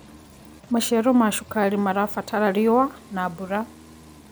Macĩaro ma cũkarĩ marabatara rĩũa na mbũra